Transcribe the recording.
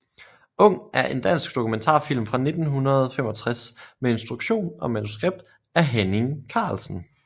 Ung er en dansk dokumentarfilm fra 1965 med instruktion og manuskript af Henning Carlsen